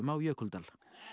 á Jökuldal